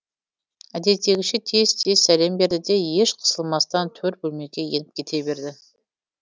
әдеттегіше тез тез сәлем берді де еш қысылмастан төр бөлмеге еніп кете берді